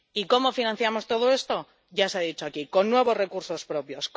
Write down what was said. Y ¿cómo financiamos todo esto? Ya se ha dicho aquí con nuevos recursos propios